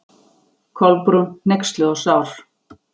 Kolbrún, hneyksluð og sár.